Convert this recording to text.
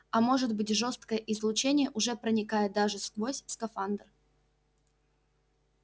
а может быть жёсткое излучение уже проникает даже сквозь скафандр